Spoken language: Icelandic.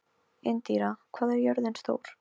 Indíra, hvað er jörðin stór?